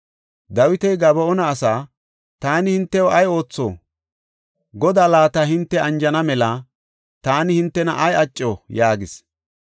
Dawiti Gaba7oona asaa, “Taani hintew ay ootho? Godaa laata hinte anjana mela taani hintena ay acco?” yaagis.